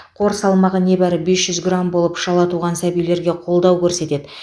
қор салмағы небәрі бес жүз грамм болып шала туған сәбилерге қолдау көрсетеді